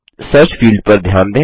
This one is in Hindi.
सर्च फील्ड पर ध्यान दें